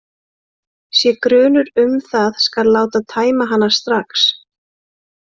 Sé grunur um það skal láta tæma hana strax.